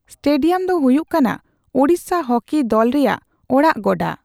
Stadium ᱫᱚ ᱦᱚᱭᱩᱜ ᱠᱟᱱᱟ ᱳᱲᱤᱥᱥᱟ ᱦᱚᱠᱤ ᱫᱚᱞ ᱨᱮᱭᱟᱜ ᱚᱲᱟᱜ ᱜᱚᱰᱟ ᱾